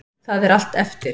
Það er allt eftir.